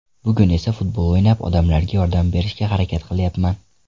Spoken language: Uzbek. Bugun esa futbol o‘ynab, odamlarga yordam berishga harakat qilyapman.